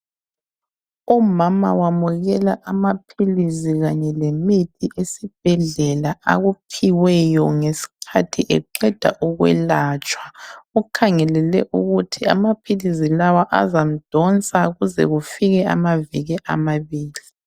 Umama wamukela amaphilizi kanye lemithi esibhedlela akuphiweyo ngesikhathi eqeda ukwelatshwa. Ukhangelele ukuthi amaphilizi lawa azamdonsa ukuze kufike amabili amabili.